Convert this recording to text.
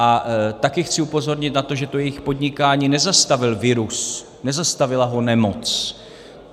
A taky chci upozornit na to, že to jejich podnikání nezastavil virus, nezastavila ho nemoc.